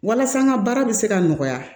Walasa n ka baara bɛ se ka nɔgɔya